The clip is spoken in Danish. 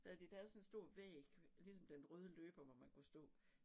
Så havde de lavet sådan en stor væg ligesom den røde løber hvor man kunne stå